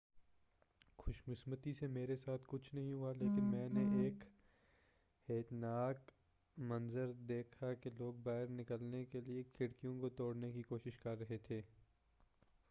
خوش قسمتی سے میرے ساتھ کچھ نہیں ہوا لیکن میں نے ایک ہیبت ناک منظر دیکھا کہ لوگ باہر نکلنے کیلئے کھڑکیوں کو توڑنے کی کوشش کر رہے تھے